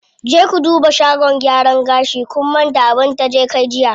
Je ku duba shagon gyaran gashi, kun manta abin taje kai jiya.